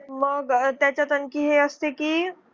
मग त्याच्यात आणखी ही असते की.